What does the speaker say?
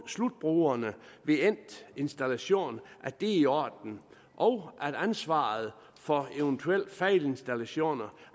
slutbrugerne ved endt installation er i orden og at ansvaret for eventuelle fejlinstallationer